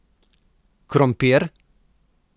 Krompir?